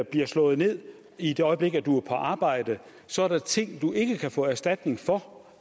bliver slået ned i det øjeblik du er på arbejde så er ting du ikke kan få erstatning for